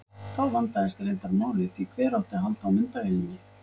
Þá vandaðist reyndar málið því hver átti að halda á myndavélinni?